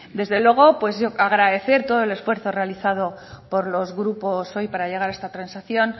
desde luego yo agradecer todo el esfuerzo realizado por los grupos hoy para llegar a esta transacción